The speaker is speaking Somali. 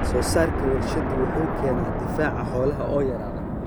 Wax-soo-saarka warshaduhu wuxuu keenaa difaaca xoolaha oo yaraada.